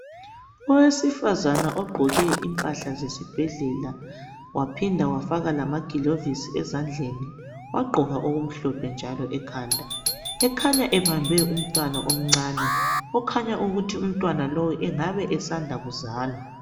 Owesifazane ogqoke impahla zesibhedlela waphinda wafaka lamagilovisi ezandleni wagqoka okumhlophe njalo ekhanda. Ekhanya ebambe umntwana omncane okhanya ukuthi umntwana lowu engabe esanda kuzalwa.